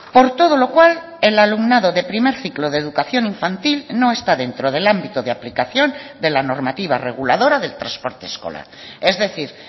por todo lo cual el alumnado de primer ciclo de educación infantil no está dentro del ámbito de aplicación de la normativa reguladora del transporte escolar es decir